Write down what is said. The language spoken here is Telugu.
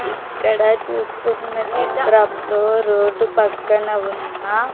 ఇక్కడ చూస్తున్న చిత్రంలో రోడ్డు పక్కన ఉన్న --